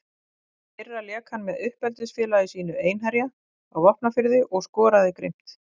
Í fyrra lék hann með uppeldisfélagi sínu Einherja á Vopnafirði og skoraði grimmt.